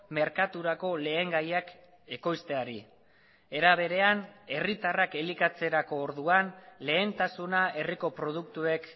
merkaturako lehengaiak ekoizteari era berean herritarrak elikatzerako orduan lehentasuna herriko produktuek